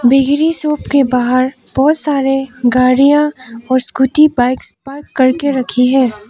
Bakery shop के बाहर बहुत सारे गाड़ियां और स्कूटी बाइक्स पार्क करके रखी है।